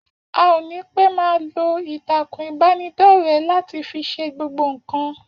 A ò ní pẹ́ máa lo Ìtàkùn ìbánidọ́rẹ́ láti fi ṣe gbogbo nǹkan.